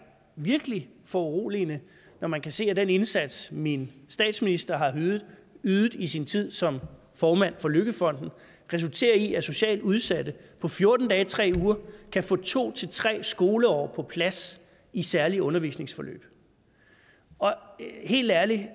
virkelig foruroligende når man kan se at den indsats min statsminister har ydet ydet i sin tid som formand for løkkefonden resulterer i at socialt udsatte på fjorten dage tre uger kan få to tre skoleår på plads i særlige undervisningsforløb helt ærligt